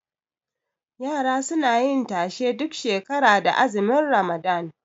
Yara suna yin tashe duk shekara da azumin ramadan